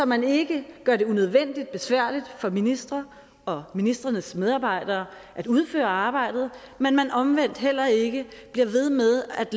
man ikke gør det unødvendigt besværligt for ministre og ministrenes medarbejdere at udføre arbejde men man omvendt heller ikke bliver ved med at